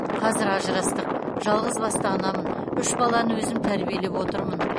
қазір ажырастық жалғызбасты анамын үш баланы өзім тәрбиелеп отырмын